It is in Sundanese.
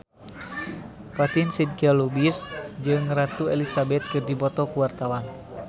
Fatin Shidqia Lubis jeung Ratu Elizabeth keur dipoto ku wartawan